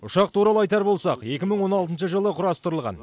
ұшақ туралы айтар болсақ екі мың он алтыншы жылы құрастырылған